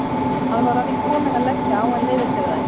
Hann var að því kominn að leggja á en leyfði sér það ekki.